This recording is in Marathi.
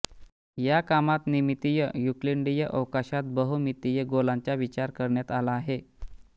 या कामात नमितीय युक्लिडीय अवकाशात बहुमितीय गोलांचा विचार करण्यात आला आहे